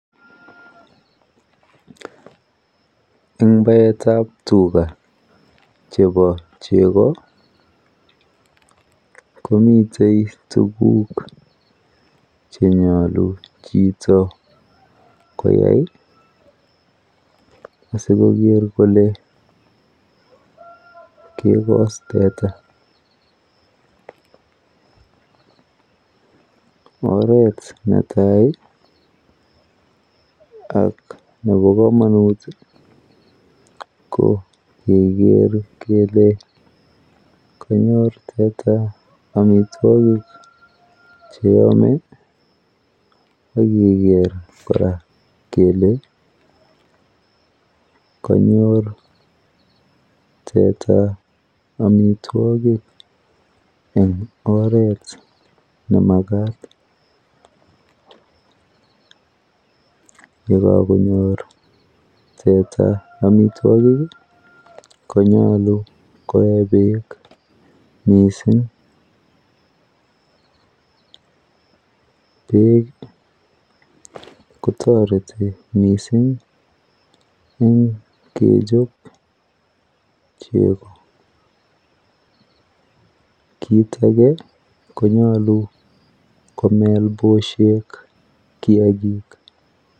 En baetab tuga chepo chego komitey tuguk chenyolu chito koyai asikoger kole kegos teta oret natai ak nepo komanut ko keger kele kanyor teta amitwogik cheame agiker koraa kele kanyor teta amitwogik eng' oret ne makat yekagonyor teta amitwogik konyalu koe peek mising' peek kotoreti mising' eng' kechop chego kiit age konyalu komel pushek kiagik.